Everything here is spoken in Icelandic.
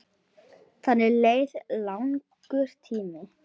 Þannig leið langur tími.